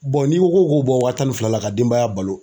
n'i ko k'o bɔ wa tan ni fila la ka denbaya balo